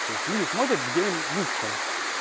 то есть люди смотрят где им лучше